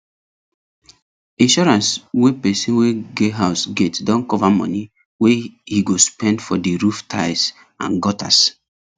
insurance wey person wey get house get don cover money wey he go spend for the roof tiles and gutters